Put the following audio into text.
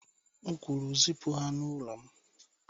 M kwuru zipụ ha n'ụlọ m.